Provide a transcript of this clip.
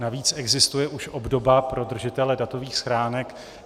Navíc existuje už obdoba pro držitele datových schránek.